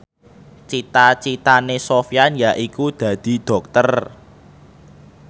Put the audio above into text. cita citane Sofyan yaiku dadi dokter